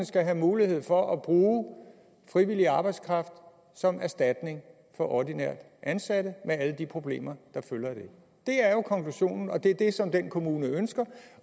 skal have mulighed for at bruge frivillig arbejdskraft som erstatning for ordinært ansatte med alle de problemer der følger af det det er jo konklusionen og det er det som den kommune ønsker